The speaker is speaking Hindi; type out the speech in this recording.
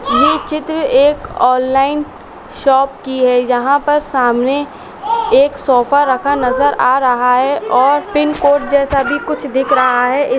ये चित्र एक ऑनलाइन शॉप की है जहाँ पर सामने एक सोफा रखा नजर आ रहा है और पिनकोड जैसा भी कुछ दिख रहा है इ --